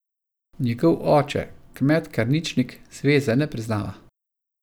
Njegov oče kmet Karničnik zveze ne priznava.